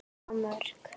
á Mörk.